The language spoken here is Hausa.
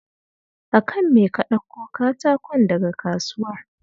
A kan me ka ɗakko katakon daga kasuwar?